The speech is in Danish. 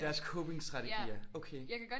Deres copingstrategier. Okay